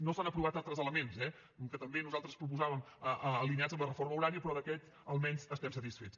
no s’han aprovat altres elements eh que també nosaltres proposàvem alineats amb la reforma horària però d’aquest almenys estem satisfets